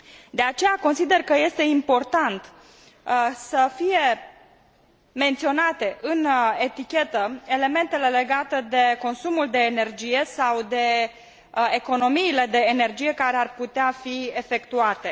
De aceea, consider că este important să fie menționate pe etichetă elementele legate de consumul de energie sau de economiile de energie care ar putea fi efectuate.